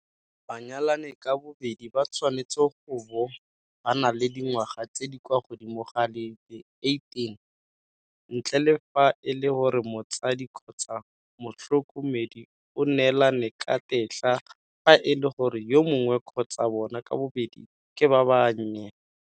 Banyalani ka bobedi ba tshwanetse go bo ba na le dingwaga tse di kwa godimo ga di le 18, ntle le fa e le gore motsadi kgotsa motlhoko medi o neelane ka tetla fa e le gore yo mongwe kgotsa bona ka bobedi ke ba bannye.